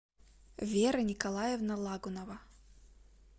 вера николаевна лагунова